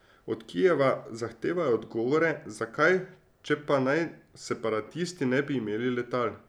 Od Kijeva zahtevajo odgovore, zakaj, če pa naj separatisti ne bi imeli letal.